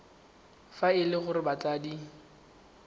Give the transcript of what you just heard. fa e le gore batsadi